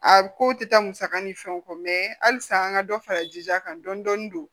A ko tɛ taa musaka ni fɛnw kɔ halisa an ka dɔ fara jija kan dɔɔni don